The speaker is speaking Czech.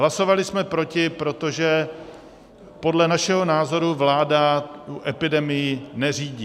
Hlasovali jsme proti, protože podle našeho názoru vláda epidemii neřídí.